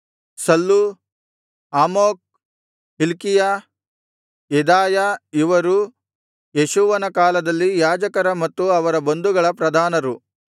Sallu Amok Hilkiah Jedaiah ಇವರು ಯೇಷೂವನ ಕಾಲದಲ್ಲಿ ಯಾಜಕರ ಮತ್ತು ಅವರ ಬಂಧುಗಳ ಪ್ರಧಾನರು